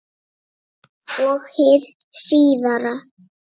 Og hið síðara